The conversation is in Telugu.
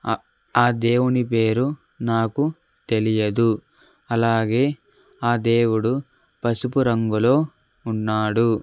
ఆ ఆ దేవుని పేరు నాకు తెలియదు అలాగే ఆ దేవుడు పసుపు రంగులో ఉన్నాడు.